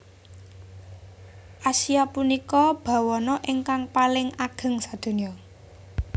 Asia punika bawana ingkang paling ageng sadonya